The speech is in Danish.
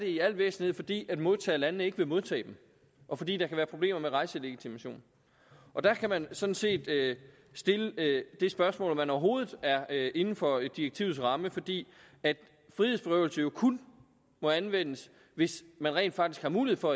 i al væsentlighed fordi modtagerlandene ikke vil modtage dem og fordi der kan være problemer med rejselegitimation der kan man sådan set stille det spørgsmål om man overhovedet er er inden for direktivets ramme fordi frihedsberøvelse jo kun må anvendes hvis man rent faktisk har mulighed for